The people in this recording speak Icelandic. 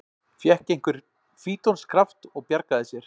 Fékk einhvern fítonskraft og bjargaði sér